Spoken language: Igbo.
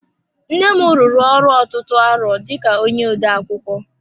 Nnem rụrụ ọrụ ọtụtụ arọ dika onye odeakwụkwọ.